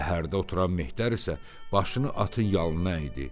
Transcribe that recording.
Yəhərdə oturan mehdər isə başını atın yalına əydi.